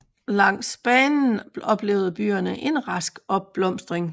Langs banen oplevede byerne en rask opblomstring